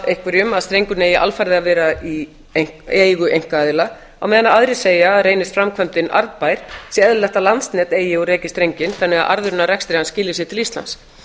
einhverjum að strengurinn eigi alfarið að vera í eigu einkaaðila á meðan aðrir segja að reynist framkvæmdin arðbær sé eðlilegt að landsnet eigi og reki strenginn þannig að arðurinn af rekstri hans skili sér til íslands